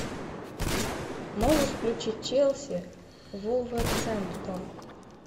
можешь включить челси вулверхэмптон